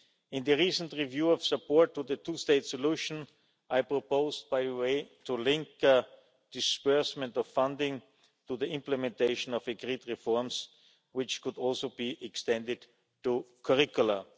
In the recent review of support to the two state solution, I proposed linking disbursement of funding to the implementation of agreed reforms, which could also be extended to curricula.